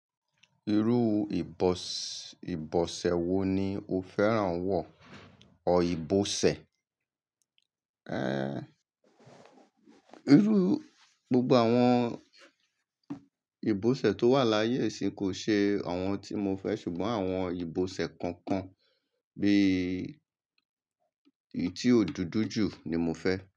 Irú ìbọ̀- ìbọ̀sẹ̀ wo ni o fẹ́ràn wọ̀ ọ̀ ìbọ̀sẹ̀? Eh, irú gbogbo àwọn ìbọ̀sẹ̀ tó wà láyé yìí ṣì kò ṣe àwọn tí mo fẹ́ ṣùgbọ́n àwọn ìbọ̀sẹ̀ kọ̀ọ̀kan bí i tí ó dúdú jù ni mo fẹ́.